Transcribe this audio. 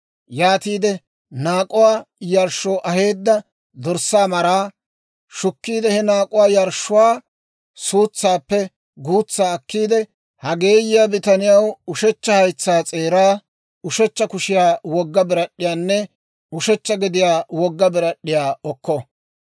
Yaatiide naak'uwaa yarshshoo aheedda dorssaa maraa shukkiide he naak'uwaa yarshshuwaa suutsaappe guutsaa akkiide, ha geeyiyaa bitaniyaw ushechcha haytsaa s'eeraa, ushechcha kushiyaw wogga birad'd'iyaanne ushechcha gediyaw wogga birad'd'iyaa okko.